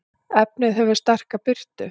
efnið hefur sterka birtu